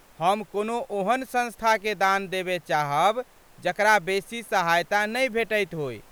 हम कोनो ओहन संस्थाकेँ दान देबय चाहब जकरा बेसी सहायता नहि भेटति होय।